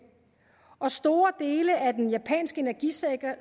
og store dele af den japanske energisektor